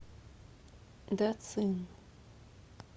дацин